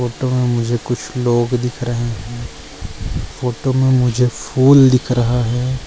Photo में मुझे कुछ लोग दिख रहै है फोटो में मुझे फूल दिख रहा है।